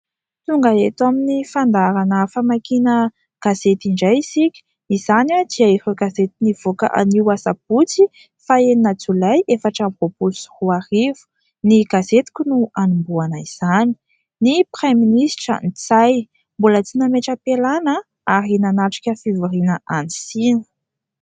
Tonga eto amin'ny fandaharana famakiana gazety indray isika. Izany dia ireo gazety nivoaka anio Sabotsy faha enina Jolay efatra amby roapolo sy roa arivo. Ny gazetiko no anombohana izany : "ny praiministra Ntsay mbola tsy nametra-pialana ary nanatrika fivoriana any Sina".